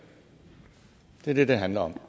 det er det det handler om